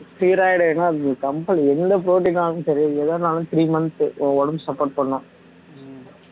steroid வேணும்னா அதுக்கு company என்ன போட்டின்னாலும் சரி எதுனாலும் three months உன் உடம்பு support பண்ணும்